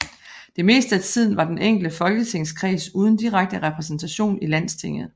Det meste af tiden var den enkelte folketingskreds uden direkte repræsentation i Landstinget